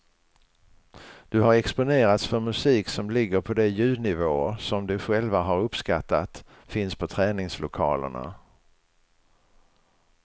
De har exponerats för musik som ligger på de ljudnivåer som de själva har uppskattat finns på träningslokalerna.